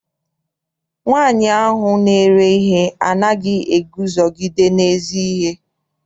Nwaanyi ahụ na-ere ihe anaghị eguzogide n'ezi ihe.